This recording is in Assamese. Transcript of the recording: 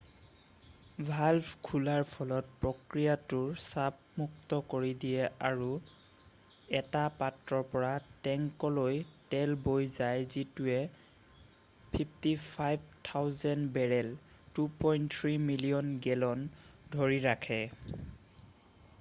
ভাল্ভ খোলাৰ ফলত প্ৰক্ৰিয়াটোত চাপ মুক্ত কৰি দিয়ে আৰু এটা পাত্ৰৰ পৰা টেংকীলৈ তেল বৈ যায় যিটোৱে 55,000 বেৰেল 2.3 মিলিয়ন গেলন ধৰি ৰাখে।